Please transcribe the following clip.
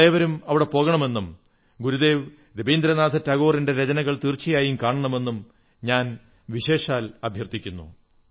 നിങ്ങളേവരും അവിടെ പോകണമെന്നും ഗുരുദേവ് രവീന്ദ്രനാഥ ടാഗോറിന്റെ രചനകൾ തീർച്ചയായും കാണമെന്നും ഞാൻ വിശേഷാൽ അഭ്യർഥിക്കുന്നു